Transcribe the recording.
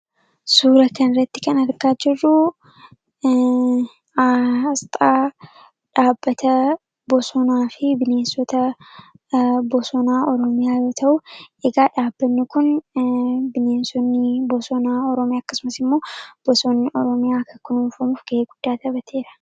Suura kana irratti kan argaa jirruu, Aasxaa dhaabbata bosonaa fi bineensota bosonaa Oromiyaa yoo ta'u, dhaabbanni Kun bineensonni bosonaa Oromiyaa akkasumas immoo bosonni Oromiyaa akka kunuunfamuuf gahee guddaa taphateera.